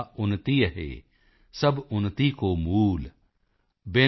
ਨਿਜ ਭਾਸ਼ਾ ਉੱਨਤੀ ਅਹੈ ਸਬ ਉੱਨਤੀ ਕੋ ਮੂਲ